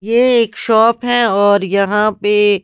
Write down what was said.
ये एक शॉप हैऔर यहां पे।